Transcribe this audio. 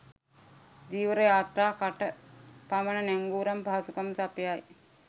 ධීවර යාත්‍රා කට පමන නැංගුරම් පහසුකම් සපයයි